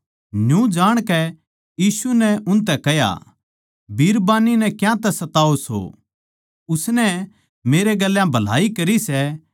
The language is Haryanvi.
न्यू जाणकै यीशु नै उनतै कह्या बिरबान्नी नै क्यांतै सताओ सो उसनै मेरै गेल्या भलाई करी सै